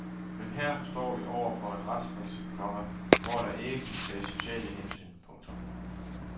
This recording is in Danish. Men her står vi over for et retsprincip, komma hvor der ikke kan tages sociale hensyn. punktum